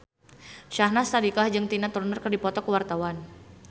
Syahnaz Sadiqah jeung Tina Turner keur dipoto ku wartawan